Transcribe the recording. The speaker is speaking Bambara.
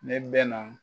Ne bɛ na